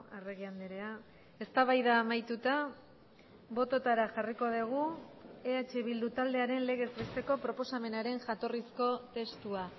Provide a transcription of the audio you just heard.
arregi andrea eztabaida amaituta bototara jarriko dugu eh bildu taldearen legez besteko proposamenaren jatorrizko testua